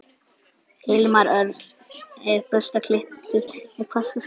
Hilmar Örn er burstaklipptur með hvassa skeggbrodda.